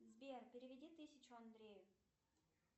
сбер переведи тысячу андрею